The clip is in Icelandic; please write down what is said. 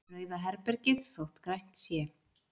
Rauða herbergið þótt grænt sé.